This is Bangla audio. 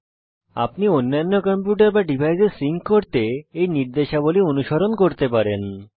আপনি আপনার অন্যান্য কম্পিউটার বা ডিভাইসে সিঙ্ক করতে এই নির্দেশাবলী অনুসরণ করতে পারেন